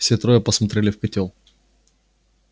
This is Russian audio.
все трое посмотрели в котёл